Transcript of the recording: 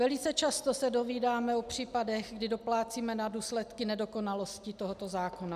Velice často se dozvídáme o případech, kdy doplácíme na důsledky nedokonalosti tohoto zákona.